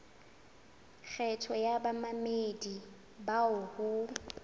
kgetho ya bamamedi bao ho